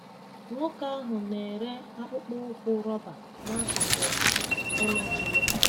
Nwoke ahụ na-ere akpụkpọ ụkwụ roba n'akụkụ ụlọ ji ya.